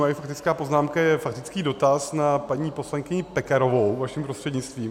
Moje faktická poznámka je faktický dotaz na paní poslankyni Pekarovou vaším prostřednictvím.